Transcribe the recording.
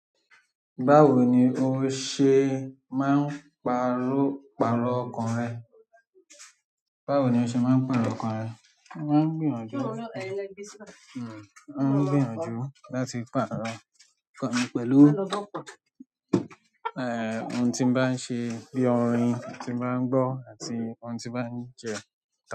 Báwo ni o ṣe máa ń pàrọ̀ ọkàn rẹ? Báwo ni o ṣe máa ń pàrọ̀ ọkàn rẹ? Mo máa ń gbìyànjú, mo máa ń gbìyànjú láti pàrọ̀ ọkàn mi pẹ̀lú, eh, ohun tí mo bá ń ṣe bí i orin tí mo bá ń gbọ́ àti ohun tí bá ń je.